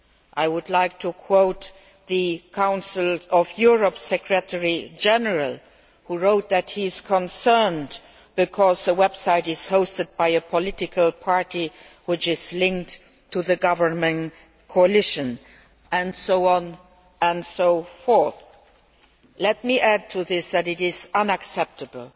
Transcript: I would like to quote the Council of Europe's Secretary General, who wrote that he is concerned because the website is hosted by a political party which is linked to the governing coalition, and so on and so forth. Let me add to this that it is unacceptable